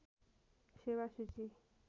सेेवा सूची